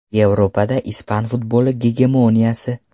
Yevropada ispan futboli gegemoniyasi.